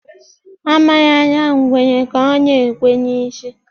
A marala ngwere ka ọ na-ekwe n'isi.